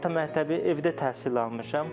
Orta məktəbi evdə təhsil almışam.